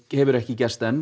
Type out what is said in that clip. hefur ekki gerst enn